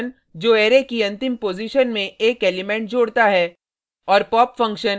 push function जो array की अंतिम पॉजिशन में एक एलिमेंट जोड़ता है